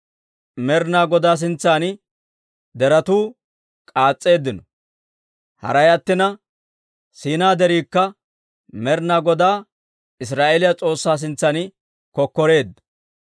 Med'inaa Godaa sintsan deretuu k'aas's'eeddino; Haray attina, Siinaa Deriikka Med'inaa Godaa Israa'eeliyaa S'oossaa sintsan kokkoreedda.